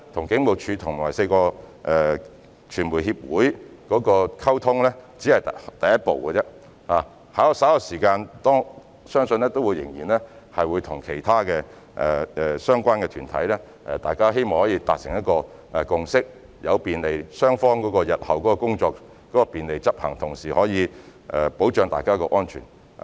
警務處處長與4個傳媒協會的溝通只是第一步，相信稍後每年都會與其他相關團體溝通，希望大家可以達成共識，讓雙方日後的工作可以順利執行，同時保障大家的安全。